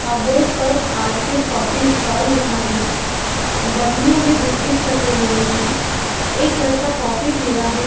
आ boat पर R K coffee stall लिखा है अ बरनियो में बिस्किट्स रखे हुए है एक लड़का कॉफी पि रहा है।